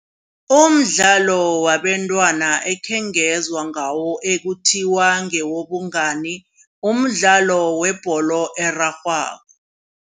Umdlalo wabentwana ekhengezwa ngawo ekuthiwa ngewobungani umdlalo webholo erarhwako.